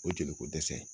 O ye joli ko dɛsɛ ye